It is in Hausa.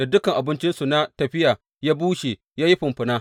Dukan abincinsu na tafiya ya bushe ya yi fumfuna.